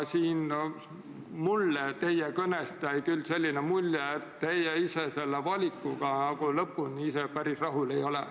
Teie kõnest jäi mulje, et te ise selle valikuga lõpuni päris rahul ei ole.